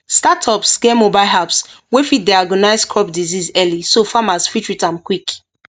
startups get mobile apps wey fit diagnose crop disease early so farmers fit treat am quick